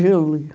Júlio.